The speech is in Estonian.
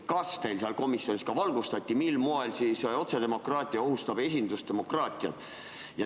Kas teid komisjonis valgustati, mil moel siis otsedemokraatia ohustab esindusdemokraatiat?